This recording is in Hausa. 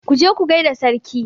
Ku je ku gai da sarki!